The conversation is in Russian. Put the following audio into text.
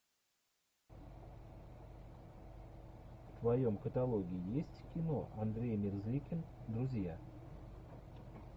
в твоем каталоге есть кино андрей мерзликин друзья